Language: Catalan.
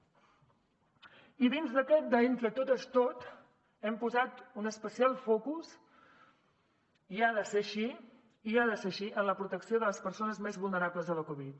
i dins d’aquest de entre totes tot hem posat un especial focus i ha de ser així i ha de ser així en la protecció de les persones més vulnerables a la covid